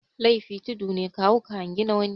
Laifi tudu ne ka hau ka hangi na wani